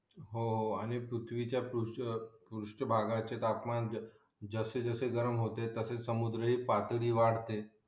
हो हो आणि पृथ्वीच्या पृष्ठ भागाचे तापमान जसे जसे गरम होते तसे समुद्र हि पातळी वाढते